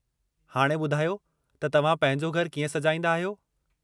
हाणे ॿुधायो त तव्हां पंहिंजो घरु कीअं सजाईंदा आहियो?